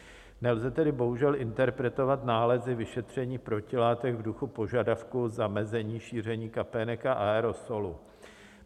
Nelze tedy bohužel interpretovat nálezy vyšetření protilátek v duchu požadavku zamezení šíření kapének a aerosolu.